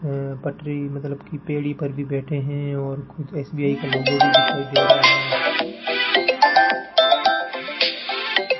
अह पटरी मतलब कि बेड़ी पर भी बैठे हैं और कुछ एस_बी_आई का लोगो भी दिखाई दे रहा है।